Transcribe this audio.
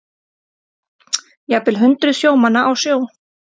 Jafnvel hundruð sjómanna á sjó